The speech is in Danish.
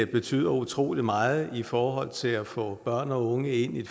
betyder utrolig meget i forhold til at få børn og unge ind i